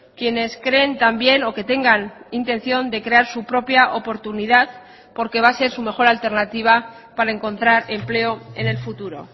quienes creen también o que tengan intención de crear su propia oportunidad porque va a ser su mejor alternativa para encontrar empleo en el futuro